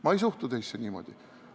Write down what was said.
Ma ei suhtu teisse niimoodi.